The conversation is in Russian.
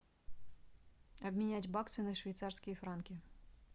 обменять баксы на швейцарские франки